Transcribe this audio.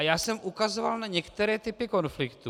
A já jsem ukazoval na některé typy konfliktů.